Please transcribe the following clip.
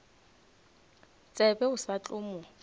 tsebe o sa tla mo